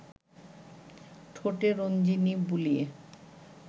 ঠোঁটে রঞ্জিনী বুলিয়ে